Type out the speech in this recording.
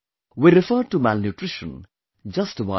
We referred to malnutrition, just a while ago